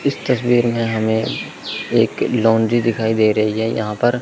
इस तस्वीर में हमें एक लौंडी दिखाई दे रही है यहां पर--